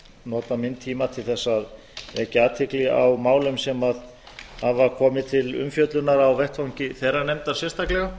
nota minn tíma til að vekja athygli á málum sem hafa komið til umfjöllunar á vettvangi þeirrar nefndar sérstaklega